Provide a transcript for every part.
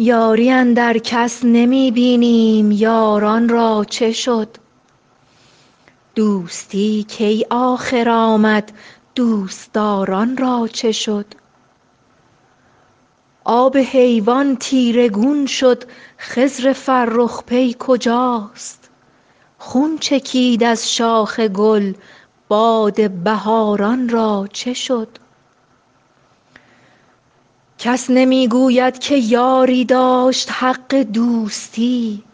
یاری اندر کس نمی بینیم یاران را چه شد دوستی کی آخر آمد دوست دار ان را چه شد آب حیوان تیره گون شد خضر فرخ پی کجاست خون چکید از شاخ گل باد بهار ان را چه شد کس نمی گوید که یاری داشت حق دوستی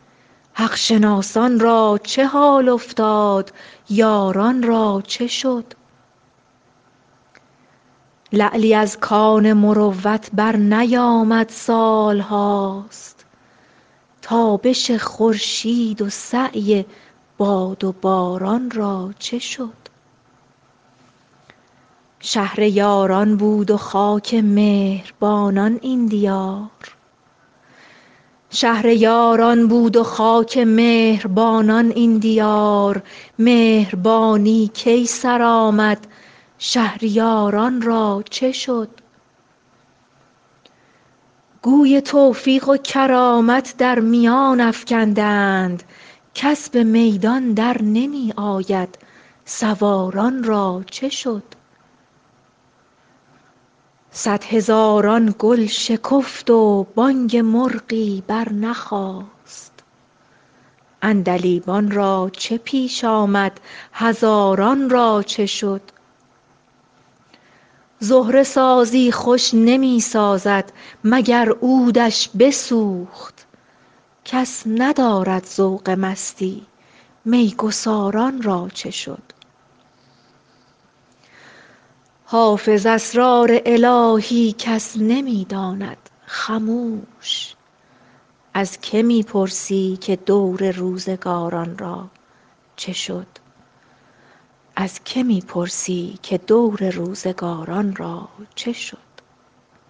حق شناسان را چه حال افتاد یاران را چه شد لعلی از کان مروت برنیامد سال هاست تابش خورشید و سعی باد و باران را چه شد شهر یاران بود و خاک مهر بانان این دیار مهربانی کی سر آمد شهریار ان را چه شد گوی توفیق و کرامت در میان افکنده اند کس به میدان در نمی آید سوار ان را چه شد صدهزاران گل شکفت و بانگ مرغی برنخاست عندلیبان را چه پیش آمد هزاران را چه شد زهره سازی خوش نمی سازد مگر عود ش بسوخت کس ندارد ذوق مستی می گسار ان را چه شد حافظ اسرار الهی کس نمی داند خموش از که می پرسی که دور روزگار ان را چه شد